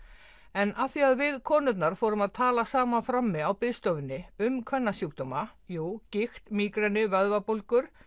en af því við konurnar fórum að tala saman frammi um jú gigt mígreni vöðvabólgur